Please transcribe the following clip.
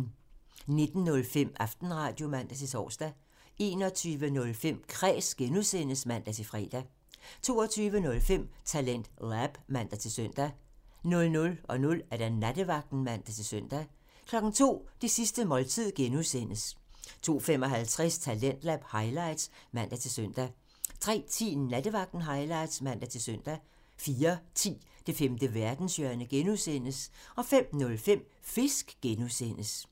19:05: Aftenradio (man-tor) 21:05: Kræs (G) (man-fre) 22:05: TalentLab (man-søn) 00:00: Nattevagten (man-søn) 02:00: Det sidste måltid (G) (man) 02:55: Talentlab highlights (man-søn) 03:10: Nattevagten highlights (man-søn) 04:10: Det femte verdenshjørne (G) (man) 05:05: Fisk (G) (man)